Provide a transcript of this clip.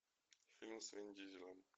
фильм с вин дизелем